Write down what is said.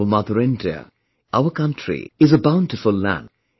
Our Mother India, our country is a bountiful land